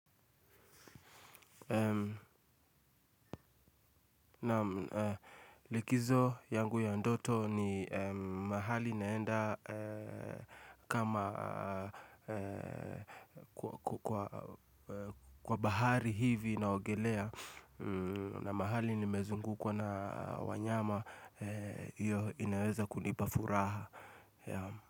Naam likizo yangu ya ndoto ni mahali naenda kama kwa bahari hivi na ogelea. Na mahali ni mezungu kwa na wanyama hiyo inaweza kunipafuraha.